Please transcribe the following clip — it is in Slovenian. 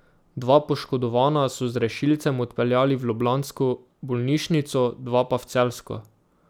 Dva poškodovana so z rešilcem odpeljali v ljubljansko bolnišnico, dva pa v celjsko.